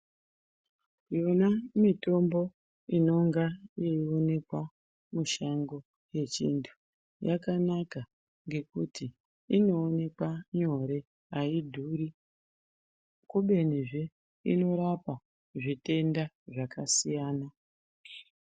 Yona mitombo inonga yeiwonekwa mushango yechindu ,yakanaka ngekuti inowoneka nyore ayidhuri, kubenizve inorapa zvitenda zvakasiyana.